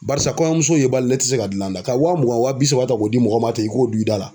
Barisa kɔɲɔmuso ye bali ne tɛ se ka dilan da ka wa mugan wa bi saba ta k'o di mɔgɔ ma ten k'o don i da la.